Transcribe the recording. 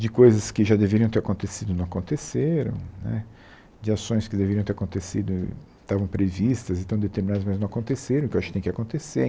de coisas que já deveriam ter acontecido, e não aconteceram né, de ações que deveriam ter acontecido, estavam previstas e estão determinadas, mas não aconteceram, então eu acho que tem que acontecer.